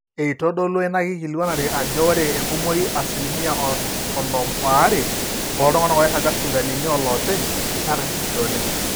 eitodolua ina kikilikuanare ajo ore enkumoi asilimia onom aare ooltung'anak oiraga sipitalini ooloopeny naa karsisi oleng